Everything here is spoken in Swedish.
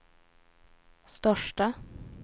största